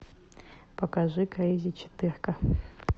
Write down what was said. покажи крейзи четырка